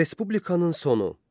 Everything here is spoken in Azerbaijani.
Respublikanın sonu.